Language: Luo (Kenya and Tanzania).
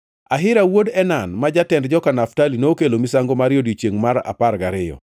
Ahira wuod Enan, ma jatend joka Naftali, nokelo misango mare e odiechiengʼ mar apar gariyo.